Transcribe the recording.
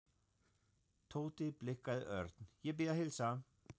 Tóti blikkaði Örn. Ég bið að heilsa